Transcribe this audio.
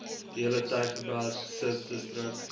diehele tygerberg subdistrik